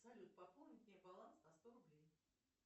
салют пополни мне баланс на сто рублей